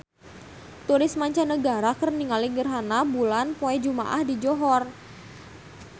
Turis mancanagara keur ningali gerhana bulan poe Jumaah di Johor